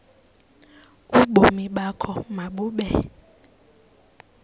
ubomi bakho mabube